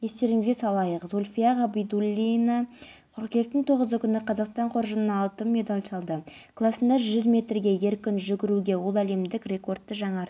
марқұм болған жастағы азамат осы қоймада оператор болып жұмыс істеген қазір төтенше жағдайлар қызметі мен